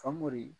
Famori